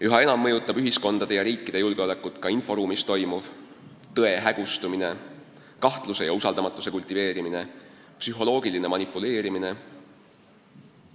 Üha enam mõjutab ühiskondade ja ka riikide julgeolekut inforuumis toimuv: tõe hägustumine, kahtluse ja usaldamatuse kultiveerimine, psühholoogiline manipuleerimine.